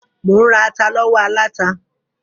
Mò ń ra ata lọ́wọ́ aláta.